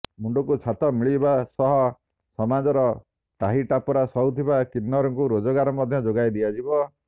ମୁଣ୍ଡକୁ ଛାତ ମିଳିବା ସହ ସମାଜର ଟାହିଟାପରା ସହୁଥିବା କିନ୍ନରଙ୍କୁ ରୋଜଗାର ମଧ୍ୟ ଯୋଗାଇଦିଆଯିବ